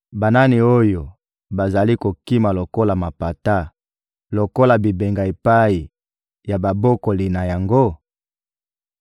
Banani oyo bazali kokima lokola mapata, lokola bibenga epai ya babokoli na yango?